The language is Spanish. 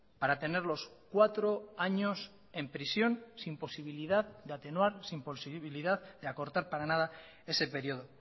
para tenerlos cuatro años en prisión sin posibilidad de atenuar sin posibilidad de acortar para nada ese periodo